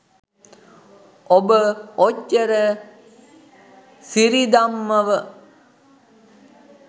ඔබ ඔච්චර සිරිදම්මව